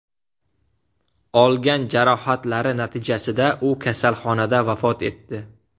Olgan jarohatlari natijasida u kasalxonada vafot etdi.